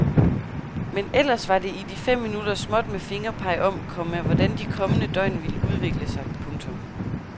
Men ellers var det i de fem minutter småt med fingerpeg om, komma hvordan de kommende døgn vil udvikle sig. punktum